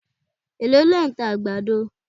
Èló lẹ̀ ń ta àgbàdo